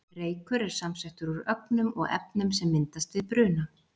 Reykur er samsettur úr ögnum og efnum sem myndast við bruna.